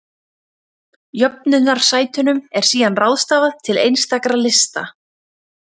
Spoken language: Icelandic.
Jöfnunarsætunum er síðan ráðstafað til einstakra lista.